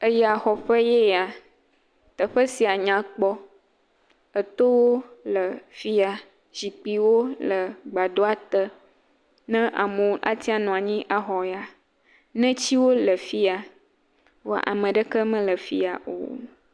Eyaxɔƒe ye ye teƒe sia nyakpɔ etowo le fi ya zikpuiwo le gbadɔa te, ne amewo ate ŋu anɔ anyi axɔ ya, netiwo le fi ya vɔ ame aɖeke mele fi ya o.